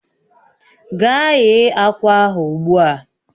Gaa ghe akwa ahụ ugbu a!